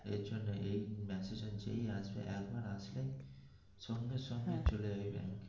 এর জন্যই এই message যেই আসবে একবার আসলেই সঙ্গে সঙ্গে চলে যাবি ব্যাংকে.